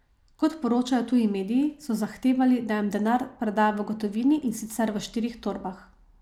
Kot poročajo tuji mediji, so zahtevali, da jim denar preda v gotovini, in sicer v štirih torbah.